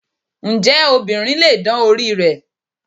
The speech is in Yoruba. Ǹjẹ́ obìnrin lè dán orí rẹ̀?